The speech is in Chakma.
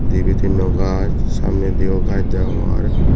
dibey tinno gaz samne di yo gaz deongor.